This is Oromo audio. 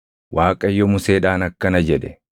Waaqayyo Museedhaan akkana jedhe;